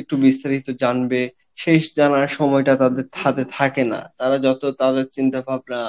একটু বিস্তারিত জানবে সেই জানার সময় টা তাদের হাতে থাকে না, তারা যত তাদের চিন্তা ভাবনা